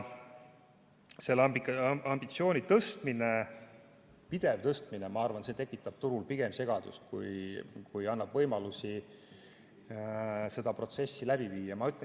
Selle ambitsiooni pidev tõstmine, ma arvan, tekitab turul pigem segadust, kui annab võimalusi seda protsessi läbi viia.